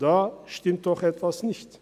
Da stimmt doch etwas nicht!